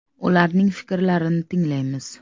Ularning fikrini tinglaymiz.